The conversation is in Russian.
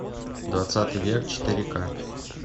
двадцатый век четыре ка